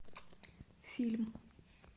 фильм